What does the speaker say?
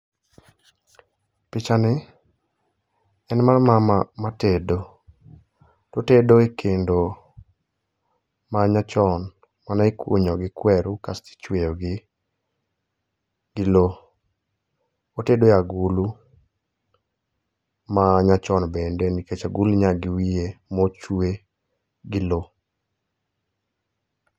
Pichani en mar mama matedo. Otedo e kendo ma nyachon mane ikunyo gi kueru kasto ichweyo gi lo. Otedo e agulu ma nyachon bende nikech aguluni ninyaka gi wiye mochwe gi lo.